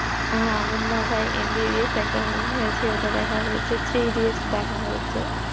আহ Munna BhaiMBBS একটা movie আছে ওটা দেখা হয়েছে three-idiots দেখা হয়েছে